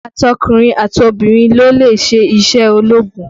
Àtọkùnrin àtọbìrin ló lè ṣe iṣẹ́ ológun